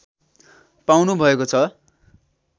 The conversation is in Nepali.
पाउनु भएको छ